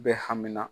Bɛ hami na